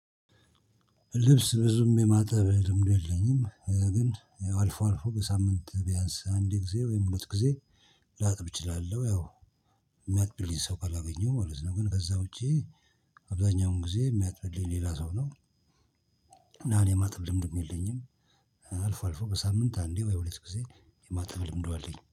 ልብስ ብዙም የማጠብ ልምዱ የለኝም ግን አልፎ አልፎ በሳምንት ቢያንስ አንድ ጊዜ ወይም ሁለት ጊዜ ላጥብ እችላለሁ ያው የሚያጥብልኝ ሰው ካላገኘሁ ማለት ነው። ግን ከዛ ውጪ አብዛኛውን ጊዜ የሚያጥብልኝ ሌላ ሰው ነው። እና እኔ የማጠብም ልምድም የለኝም። አልፎ አልፎ በሳምንት አንዴ ወይ ሁለት ጊዜ የማተጠብ ልምዱ አለኝ